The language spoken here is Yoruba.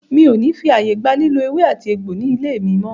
Mi o ní fí ààyè gba lílò ewé àti egbò ní ilé mí mọ́!